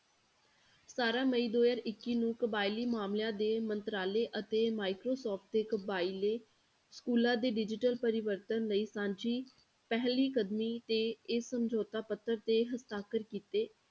ਸਤਾਰਾਂ ਮਈ ਦੋ ਹਜ਼ਾਰ ਇੱਕੀ ਨੂੰ ਕਬਾਇਲੀ ਮਾਮਲਿਆਂ ਦੇ ਮੰਤਰਾਲੇ ਅਤੇ microsoft ਦੇ ਕਬਾਇਲੀ schools ਦੇ digital ਪ੍ਰਵਰਤਨ ਲਈ ਸਾਂਝੀ ਪਹਿਲੀ ਕਦਮੀ ਤੇ ਇਹ ਸਮਝੌਤਾ ਪੱਧਰ ਤੇ ਹਸਤਾਖ਼ਰ ਕੀਤੇ।